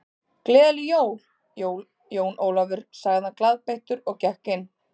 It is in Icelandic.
Gleðileg jól, Jón Ólafur sagði hann glaðbeittur og gekk inn.